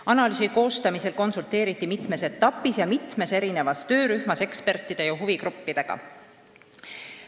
Analüüsi koostamisel konsulteeriti mitmes etapis ja mitmes erinevas töörühmas ekspertide ja huvigruppidega.